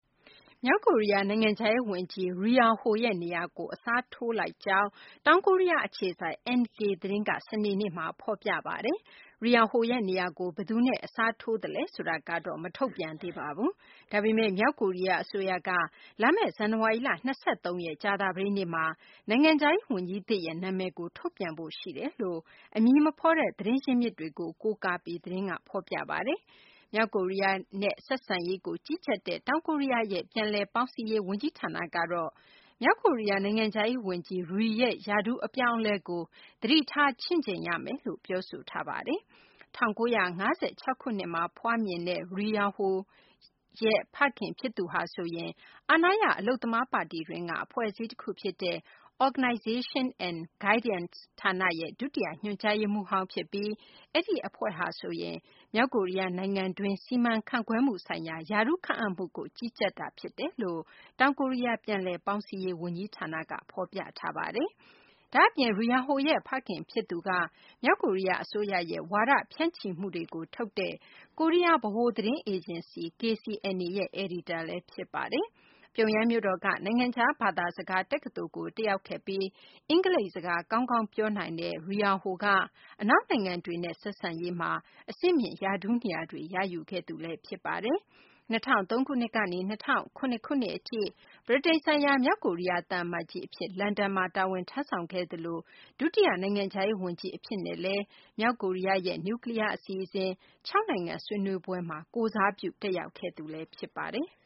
မြောက်ကိုရီးယား နိုင်ငံခြားရေးဝန်ကြီး Ri Yong Ho ရဲ့ ရာထူးကို အစားထိုးလိုက်ကြောင်း တောင်ကိုရီးယားအခြေစိုက် NK သတင်းက စနေနေ့မှာ ဖော်ပြပါတယ်။ Ri Yong Ho ရဲ့နေရာကို ဘယ်သူနဲ့ အစားထိုးသလဲ ဆိုတာတော့ မထုတ်ပြန်သေးပါဘူး။ ဒါပေမယ့် မြောက်ကိုရီးယား အစိုးရက လာမယ့် ဇန်နဝါရီလ ၂၃ ရက် ကြာသပတေးနေ့မှာ နိုင်ငံခြားရေးဝန်ကြီးသစ်ရဲ့ နာမည်ကို ထုတ်ပြန်ဖို့ ရှိတယ်လို့လည်း အမည်မဖော်တဲ့ သတင်းရင်းမြစ်တွေကို ကိုးကားပြီး သတင်းက ဖော်ပြပါတယ်။ မြောက်ကိုရီးယားနဲ့ ဆက်ဆံရေးကို ကြီးကြပ်တဲ့ တောင်ကိုရီးယားရဲ့ ပြန်လည်ပေါင်းစည်းရေး ဝန်ကြီးဌာနကတော့ မြောက်ကိုရီးယား နိုင်ငံခြားရေးဝန်ကြီး Ri ရဲ့ ရာထူးအပြောင်းအလဲကို သတိထား ချင့်ချိန်ရမယ်လို့ ပြောဆိုထားပါတယ်။ ၁၉၅၆ ခုနှစ်မှာ မွေးဖွားတဲ့ Ri Yong Ho ရဲ့ ဖခင်ဖြစ်သူဟာ အာဏာရ အလုပ်သမားပါတီတွင်းက အဖွဲ့အစည်းတခုဖြစ်တဲ့ Organization and Guidance ဌာနရဲ့ ဒုတိယညွှန်ကြားရေးမှူးဟောင်းဖြစ်ပြီး အဲဒီအဖွဲ့ဟာဆိုရင် မြောက်ကိုရီးယားနိုင်ငံတွင်း စီမံခန့်ခွဲမှုဆိုင်ရာ ရာထူးခန့်အပ်မှုကို ကြီးကြပ်တာ ဖြစ်တယ်လို့လည်း တောင်ကိုရီးယား ပြန်လည်ပေါင်းစည်းရေး ဝန်ကြီးဌာနက ဖော်ပြထားပါတယ်။ ဒါ့အပြင် Ri Yong Ho ရဲ့ ဖခင်ဖြစ်သူက မြောက်ကိုရီးယား အစိုးရရဲ့ ဝါဒဖြန့်ချိမှုတွေကို ထုတ်တဲ့ ကိုရီးယား ဗဟိုသတင်းအေဂျင်စီ KCNA ရဲ့ အယ်ဒီတာလည်း ဖြစ်ပါတယ်။ ပြုံယမ်းမြို့တော်က နိုင်ငံခြားဘာသာစကား တက္ကသိုလ်ကို တက်ရောက်ခဲ့ပြီး အင်္ဂလိပ်စကား ကောင်းကောင်းပြောနိုင်တဲ့ Ri Yong Ho က အနောက်နိုင်ငံတွေနဲ့ ဆက်ဆံရေးမှာ အဆင့်မြင့် ရာထူးနေရာတွေ ရယူခဲ့သူလည်း ဖြစ်ပါတယ်။ ၂၀၀၃ ကနေ ၂၀၀၇ ခုနှစ်အထိ ဗြိတိန်နိုင်ငံဆိုင်ရာ မြောက်ကိုရီးယား သံအမတ်ကြီးအဖြစ် လန်ဒန်မှာ တာဝန်ထမ်းဆောင်ခဲ့သလို ဒုတိယ နိုင်ငံခြားရေးဝန်ကြီး အဖြစ်နဲ့ မြောက်ကိုရီးယားရဲ့ နျူကလီးယား အစီအစဉ်ဆိုင်ရာ ၆ နိုင်ငံ ဆွေးနွေးပွဲမှာ ကိုယ်စားပြု တက်ရောက်ခဲ့သူလည်း ဖြစ်ပါတယ်။